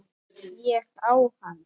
Ég á hana!